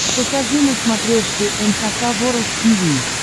покажи на смотрешке эн эйч кей волд ти ви